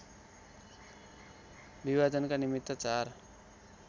विभाजनका निमित्त चार